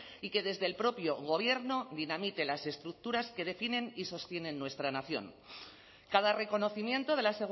y que desde el propio gobierno dinamite las estructuras que definen y sostienen nuestra nación cada reconocimiento de la